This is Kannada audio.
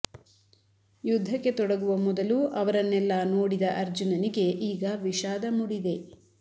ಯುದ್ಧಕ್ಕೆ ತೊಡಗುವ ಮೊದಲು ಅವರನ್ನೆಲ್ಲ ನೋಡಿದ ಅರ್ಜುನನಿಗೆ ಈಗ ವಿಷಾದ ಮೂಡಿದೆ